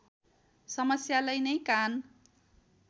समस्यालाई नै कान